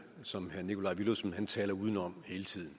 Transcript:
som herre nikolaj villumsen taler udenom hele tiden